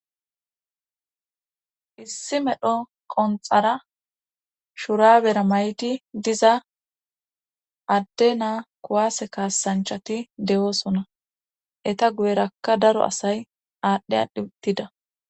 Issi medho qonxara shurabera mayti diza adde naa kuwaase kaasanchati de'oosona eta guyerakka daro asay aadhdhe adhitida